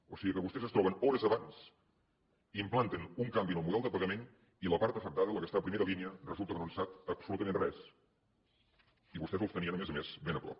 o sigui que vostès es troben hores abans implanten un canvi en el model de pagament i la part afectada la que està a primera línia resulta que no en sap absolutament res i vostès els tenien a més a més ben a prop